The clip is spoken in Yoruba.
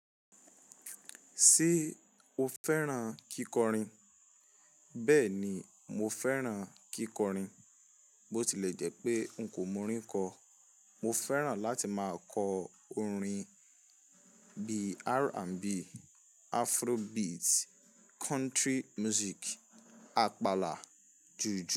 Ṣé o fẹ́ràn kíkọrin? Bẹ́ẹ̀ ni, mo fẹ́ràn kíkọrin. Botilẹjẹ́ pé n ko mọ orin kọ. Mo fẹ́ràn láti máa kọ orin bíi R&B, Afrobeat, country music, àpàlà, jùjú.